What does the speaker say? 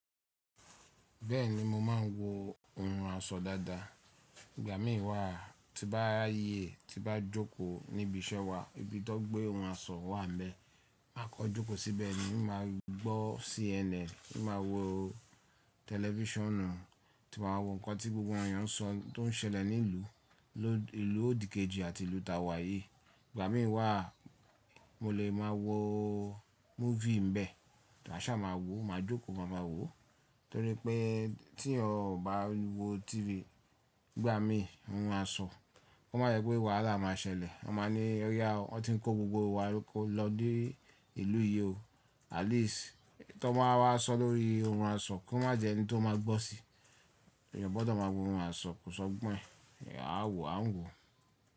Bẹ́ẹ̀ni mo máa ń wo ohun àṣọ dáadáa. Ìgbà mí wà tí bá rayẹ tí bá jókòó níbi iṣẹ́ wa ibi tan gbé ohun àṣọ wà n bẹ̀, máa kọ jókòó síbẹ̀ ni. Mo máa gbọ́ CNN, mo máa wo tẹlifíṣànù, tí màá wo ǹnkan tí gbogbo awon èeyàn ń sọ, tó n ṣẹlẹ̀ ní ìlú, ló ìlú òdìkejì àti ìlú ta wà yí. Ìgbà mí wà mo lè máa wo múfì n bẹ̀, maà ṣá máa wò máa jókòó máa ma wò. Torí pé tí ẹ ò bá wo TV ìgbà mí ohun àṣọ, ko má jẹ́ pé wàhálà máa ṣẹlẹ̀. Wọ́n máa ní e o ya o, wọ́n tí ń kó gbogbo wa ló ko lọ dé ìlú yi o. At least tan bá wà sọ lórí ohun àṣọ kó má jẹ́ ẹni tó máa gbọ́ sí i. Ẹ̀eyan gbọ́dọ̀ máa wo ohun àṣọ, kò sọ gbọ́n e, à wò à ń wò.